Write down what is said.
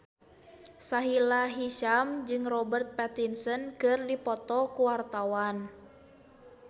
Sahila Hisyam jeung Robert Pattinson keur dipoto ku wartawan